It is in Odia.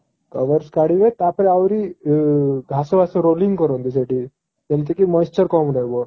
covers କାଢିବେ ତା ପରେ ଆହୁରି ଘାସ ଫାଶ rolling କରନ୍ତି ସେଠି ଯେମତି କି moisture କମ ରହିବ